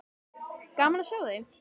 Gaman að sjá þig.